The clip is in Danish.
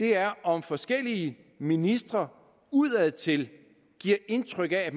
er om forskellige ministre udadtil giver indtryk af at